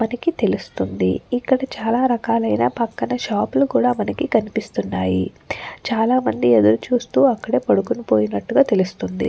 మనకి తెలుస్తుంది. ఇక్కడ చాలా రకాలైన పక్కన షాపు లు కూడా మనకి కనిపిస్తున్నాయి. చాలామంది ఎదురు చూస్తున్నట్టే చూస్తూ అక్కడే పడుకొని పోయినట్టుగా అక్కడ తెలుస్తుంది.